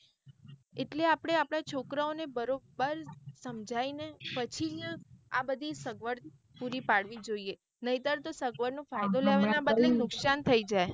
એટલે આપળે હવે છોકરાઓ ને બરોબર સંમજાઇએ ને પછી જ આ બધી સગવડ પુરી પાડવી જોઈએ નહીં તર તો સગવડ નો ફાયદો લેવા ના બદલે નુકસાન થઇ જાય.